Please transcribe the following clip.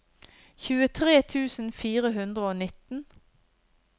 tjuetre tusen fire hundre og nitten